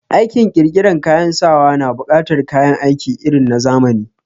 Aikin ƙirƙiran kayan sawa na buƙatar kayan aiki irin na zamani